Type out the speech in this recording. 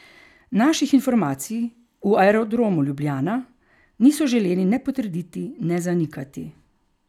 Naših informacij v Aerodromu Ljubljana niso želeli ne potrditi ne zanikati.